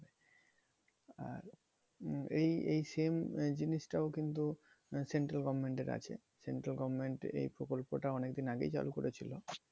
আর এই এই same জিনিসটাও কিন্তু central governmant এর আছে। central government এই প্রকল্প টা অনেকদিন আগেই চালু করেছিল।